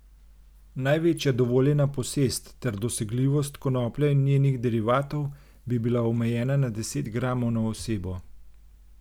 Največja dovoljena posest ter dosegljivost konoplje in njenih derivatov bi bila omejena na deset gramov na osebo.